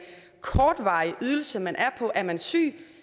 kortvarig ydelse man er på er man syg